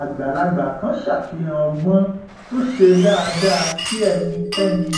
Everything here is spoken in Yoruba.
àgbàlagbà kan ṣàfihàn ọgbọn tó ṣe dáadáa kí ẹnikẹni